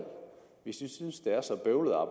hvis de synes det er så bøvlet at